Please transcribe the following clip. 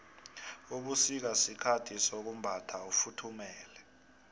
ubusika sikhathi sokumbatha ufuthumale